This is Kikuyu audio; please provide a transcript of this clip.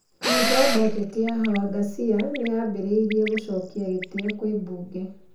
Kamati ya Bajeti ya Hawa Ghasia nĩambĩrĩrĩtie gũcokia gĩtio kwĩ Bunge.